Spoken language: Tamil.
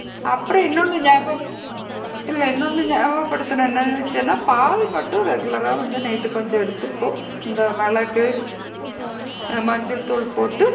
அப்பறம் இன்னொன்னு நியாபகம் இல்ல இன்னொன்னு நியாபக படுத்தனும் என்ன நினைச்சேன்னா பால் மட்டும் regular ரா கொஞ்சம் night எடுத்துக்கோ இந்த மிளகு ஆ மஞ்சள் தூள் போட்டு,